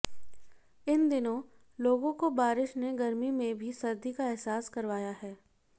इन दिनों लोगों को बारिश ने गर्मी में भी सर्दी का एहसास करवाया है